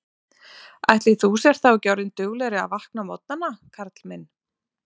Ætli þú sért þá ekki orðinn duglegri að vakna á morgnana, Karl minn